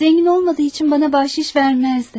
Zengin olmadığı için bana bahşiş vermezdi.